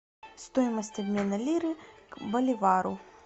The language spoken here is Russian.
стоимость обмена лиры к боливару